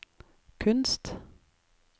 kunst